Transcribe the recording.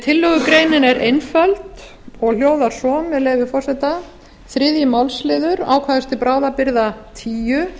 tillögugreinin er einföld og hljóðar svo með leyfi forseta þriðja málsl ákvæðis til bráðabirgða tíu